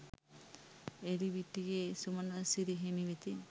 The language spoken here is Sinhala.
එලිවිටියේ සුමනසිරි හිමි වෙතින්